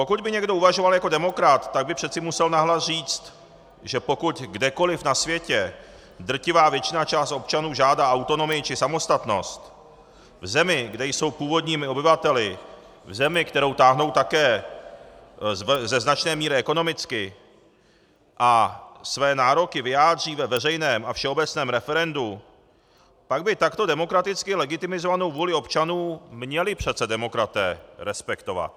Pokud by někdo uvažoval jako demokrat, tak by přece musel nahlas říct, že pokud kdekoli na světě drtivá většina, část občanů, žádá autonomii či samostatnost v zemi, kde jsou původními obyvateli, v zemi, kterou táhnou také ze značné míry ekonomicky a své nároky vyjádří ve veřejném a všeobecném referendu, pak by takto demokraticky legitimizovanou vůli občanů měli přece demokraté respektovat.